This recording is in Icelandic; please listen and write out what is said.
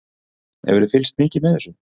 Hefurðu fylgst mikið með þessu?